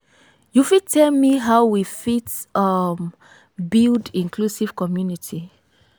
you fit tell me how we fit um build inclusive community?